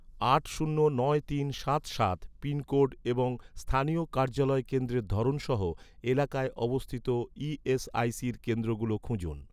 আট শূন্য নয় তিন সাত সাত পিনকোড এবং স্থানীয় কার্যালয় কেন্দ্রের ধরন সহ, এলাকায় অবস্থিত ই.এস.আই.সির কেন্দ্রগুলো খুঁজুন